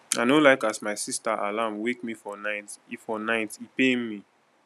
i no like as my sista alarm wake me for night e for night e pain me